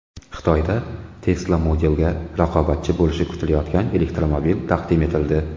Xitoyda Tesla Model’ga raqobatchi bo‘lishi kutilayotgan elektromobil taqdim etildi .